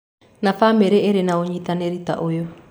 na bamĩrĩ ĩrĩ na ũnyitanĩri ta ũyũ.